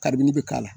Kabini bɛ k'a la